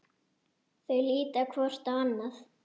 Þau líta hvort á annað.